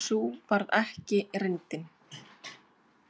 Sú varð ekki reyndin.